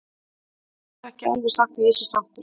Ég get ekki alveg sagt að ég sé sáttur.